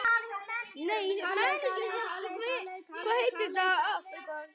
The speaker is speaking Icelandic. Bringan sneri að hafi.